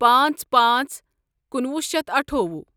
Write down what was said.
پانژھ پانژھ کنُوُہ شیتھ اٹھوُہ